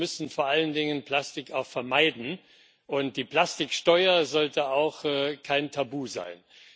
Wir müssen vor allen Dingen Plastik auch vermeiden, und die Plastiksteuer sollte auch kein Tabu sein.